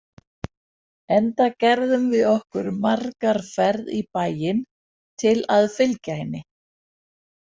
Enda gerðum við okkur margar ferð í bæinn til að fylgja henni.